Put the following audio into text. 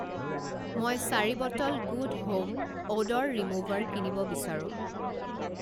মই চাৰি bottle good home odour remover কিনিব বিচাৰোঁ।